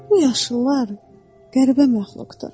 Bu yaşıllar qəribə məxluqdur.